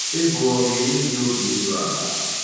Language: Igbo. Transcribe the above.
Ego, ọ ga - enye gị obi iru ala?